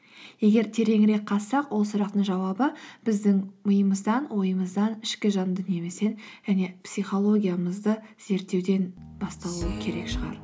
егер тереңірек қазсақ ол сұрақтың жауабы біздің миымыздан ойымыздан ішкі жан дүниемізден және психологиямызды зерттеуден басталу керек шығар